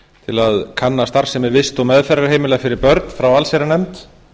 til að kanna starfsemi vist og meðferðarheimila fyrir börn frá allsherjarnefnd